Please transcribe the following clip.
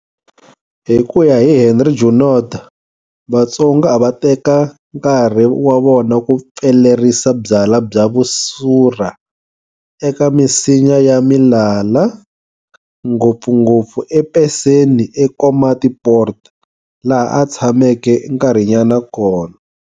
Hikuya hi Henri Junod, Vatsonga a va teka nkarhi wavona ku pfelerisa byala bya Vusurha eka minsinya ya milala, ngopfungopfu a Pessene e Komati Poort, laha a tshameke nkarhinyana kona.